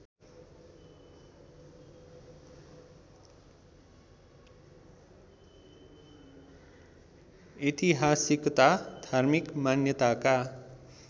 ऐतिहासिकता धार्मिक मान्यताका